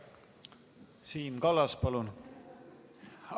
Siim Kallas, palun!